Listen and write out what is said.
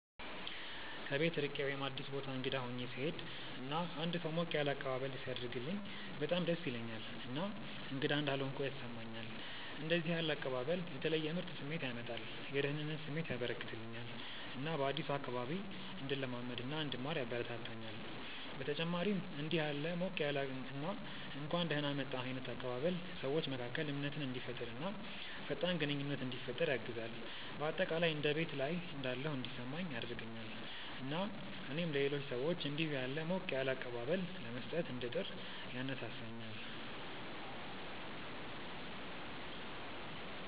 ከቤት ርቄ ወይም አዲስ ቦታ እንግዳ ሆኜ ስሄድ እና አንድ ሰው ሞቅ ያለ አቀባበል ሲያደርግልኝ በጣም ደስ ይለኛል እና እንግዳ እንዳልሆንኩ ያስሰማኛል። እንደዚህ ያለ አቀባበል የተለየ ምርጥ ስሜት ያመጣል፤ የደህንነት ስሜት ያበረከተልኛል እና በአዲሱ አካባቢ እንድለማመድ እና እንድማር ያበረታታኛል። በተጨማሪም እንዲህ ያለ ሞቅ ያለ እና እንኳን ደህና መጣህ ዓይነት አቀባበል ሰዎች መካከል እምነትን እንዲፈጠር እና ፈጣን ግንኙነት እንዲፈጠር ያግዛል። በአጠቃላይ እንደ ቤት ላይ እንዳለሁ እንዲሰማኝ ያደርገኛል እና እኔም ለሌሎች ሰዎች እንዲሁ ያለ ሞቅ ያለ አቀባበል ለመስጠት እንድጥር ያነሳሳኛል።